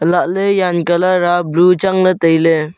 elah ley jan colour a blue chang ley tai ley.